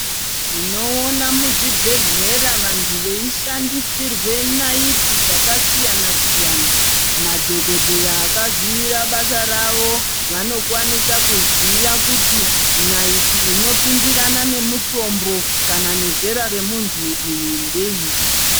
Tinoona muzvibhehlera vantu veishandisirwe naiti dzakasiyana siyana. Madhokodheya akazivira basa ravo vanokwanisa kuziva kuti naiti inopindirana nemutombo kana nezera remuntu ndeiri.